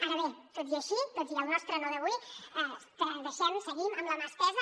ara bé tot i així tot i el nostre no d’avui deixem seguim amb la mà estesa